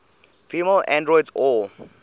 female androids or